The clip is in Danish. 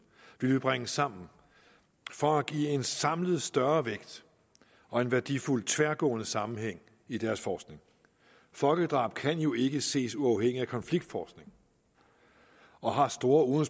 ville vi bringe sammen for at give en samlet større vægt og en værdifuld tværgående sammenhæng i deres forskning folkedrab kan jo ikke ses uafhængigt af konfliktforskning og har store